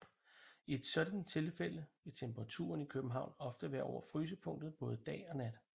I et sådant tilfælde vil temperaturen i København ofte være over frysepunktet både dag og nat